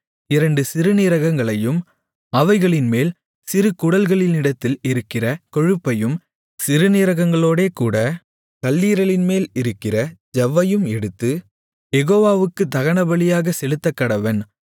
இரண்டு சிறுநீரகங்களையும் அவைகளின்மேல் சிறு குடல்களினிடத்தில் இருக்கிற கொழுப்பையும் சிறுநீரகங்களோடேகூடக் கல்லீரலின்மேல் இருக்கிற ஜவ்வையும் எடுத்து யெகோவாவுக்குத் தகனபலியாகச் செலுத்தக்கடவன்